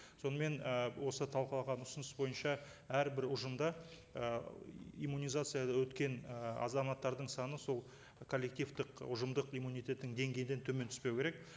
сонымен і осы талқылаған ұсыныс бойынша әрбір ұжымда і иммунизация өткен ы азаматтардың саны сол коллективтік ұжымдық иммунитеттің деңгейінен төмен түспеу керек